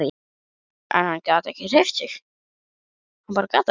En hann gat ekki hreyft sig.